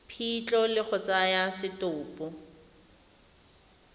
phitlho le go tsaya setopo